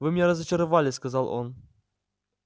вы меня разочаровали сказал он